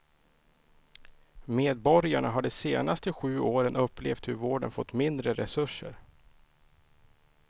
Medborgarna har de senaste sju åren upplevt hur vården fått mindre resurser.